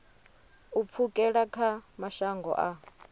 u pfukela kha mashango a